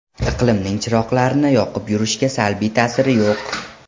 Iqlimning chiroqlarni yoqib yurishga salbiy ta’siri yo‘q.